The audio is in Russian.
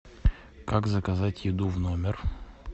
как заказать еду в номер